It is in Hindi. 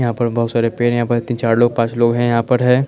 यहाँ पर बहुत सारे पेड़ हैं यहाँ पर तीन चार लोग पांच लोग हैं यहाँ पर हैं।